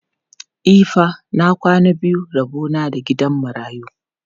E fa, na kwana biyu rabo na da gidan marayu.